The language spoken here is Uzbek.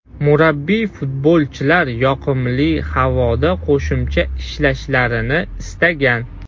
Murabbiy futbolchilar yoqimli havoda qo‘shimcha ishlashlarini istagan.